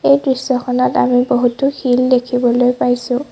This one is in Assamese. এই দৃশ্যখনত আমি বহুতো শিল দেখিবলৈ পাইছোঁ।